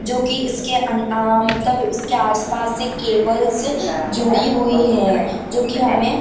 जो की इसके अंन अ मतलब इसके आस-पास से केबल्स जुड़ी हुई है जो की हमे --